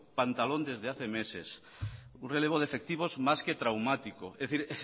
pantalón desde hace meses un relevo de efectivos más que traumático es decir